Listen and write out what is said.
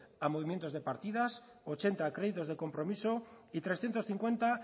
a movimientos de partidas ochenta a créditos de compromiso y trescientos cincuenta